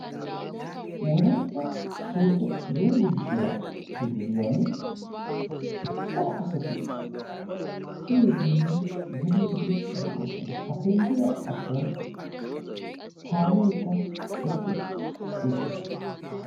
wolaitta sooddo yumbburshiyaa penggiyan cora asati kiyiiddinne geliiddi de7oosona. ha penggiyaa achchan kaameekka eqqi uttiis.